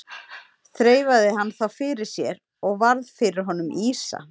Þreifaði hann þá fyrir sér og varð fyrir honum ýsa.